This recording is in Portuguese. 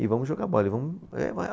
E vamos jogar bola, e vamos